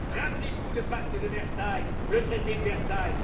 Rappelez vous le traité de Versailles.